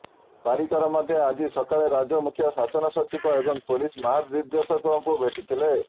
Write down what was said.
ପାରିକର ମଧ୍ୟ ଆଜି ସକାଳେ ରାଜ୍ୟ ମୁଖ୍ୟ ଶାସନ ସଚିବ ଏବଂ ପୁଲିସ ମହାନିର୍ଦ୍ଦେଶକଙ୍କୁ ଭେଟିଥିଲେ